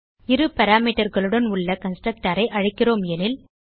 இரு parameterகளுடன் உள்ள கன்ஸ்ட்ரக்டர் ஐ அழைக்கிறோம் எனில்